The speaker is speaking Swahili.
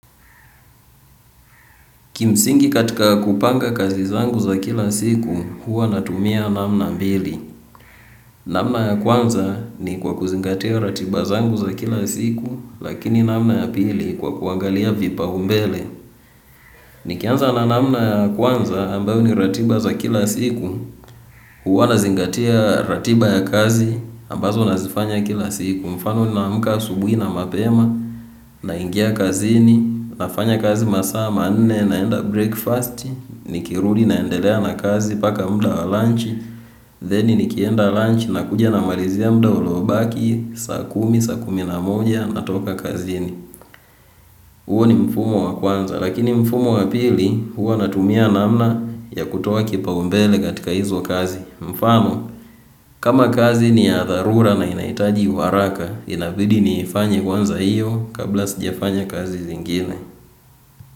Kimsingi katika kupanga kazi zangu za kila siku, huwa natumia namna mbili. Namna ya kwanza ni kwa kuzingatia ratiba zangu za kila siku, lakini namna ya pili kwa kuangalia vipaumbele. Nikianza na namna ya kwanza ambayo ni ratiba za kila siku, huwa nazingatia ratiba ya kazi ambazo nazifanya kila siku. Mfano ninaamka asubuhi na mapema naingia kazini nafanya kazi masaa manne naenda breakfast. Nikirudi naendelea na kazi mpaka muda wa lunch then nikienda lunch nakuja namalizia muda uliobaki saa kumi saa kumi na moja natoka kazini. Huo ni mfumo wa kwanza lakini mfumo wa pili huwa natumia namna ya kutoa kipaumbele katika hizo kazi. Mfano, kama kazi ni ya dharura na inahitaji haraka, inabidi niifanye kwanza iyo kabla sijafanya kazi zingine.